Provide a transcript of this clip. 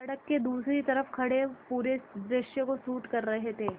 सड़क के दूसरी तरफ़ खड़े पूरे दृश्य को शूट कर रहे थे